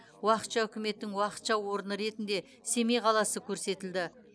уақытша үкіметтің уақытша орны ретінде семей қаласы көрсетілді